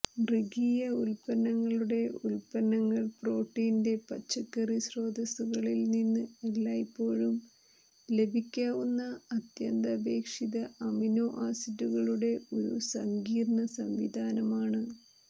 മൃഗീയ ഉത്പന്നങ്ങളുടെ ഉത്പന്നങ്ങൾ പ്രോട്ടീന്റെ പച്ചക്കറി സ്രോതസുകളിൽ നിന്ന് എല്ലായ്പ്പോഴും ലഭിക്കാവുന്ന അത്യന്താപേക്ഷിത അമിനോ ആസിഡുകളുടെ ഒരു സങ്കീർണ സംവിധാനമാണ്